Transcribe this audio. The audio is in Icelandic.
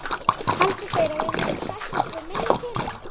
Halda þeir að við munum sætta okkur við minni pening?